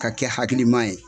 Ka kɛ hakilima ye